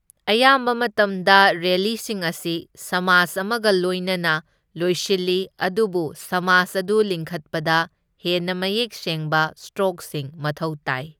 ꯑꯌꯥꯝꯕ ꯃꯇꯝꯗ ꯔꯦꯂꯤꯁꯤꯡ ꯑꯁꯤ ꯁ꯭ꯃꯥꯁ ꯑꯃꯒ ꯂꯣꯏꯅꯅ ꯂꯣꯏꯁꯤꯜꯂꯤ, ꯑꯗꯨꯕꯨ ꯁ꯭ꯃꯥꯁ ꯑꯗꯨ ꯂꯤꯡꯈꯠꯄꯗ ꯍꯦꯟꯅ ꯃꯌꯦꯛ ꯁꯦꯡꯕ ꯁ꯭ꯇꯔꯣꯛꯁꯤꯡ ꯃꯊꯧ ꯇꯥꯏ꯫